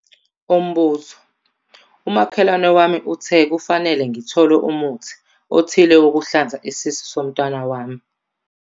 Umbuzo- Umakhelwane wami uthe kufanele ngithole umuthi othile wokuhlanza isisu somntwana wami.